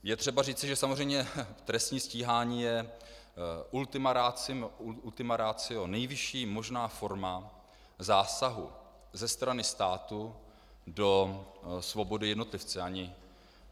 Je třeba říci, že samozřejmě trestní stíhání je ultima ratio, nejvyšší možná forma zásahu ze strany státu do svobody jednotlivce.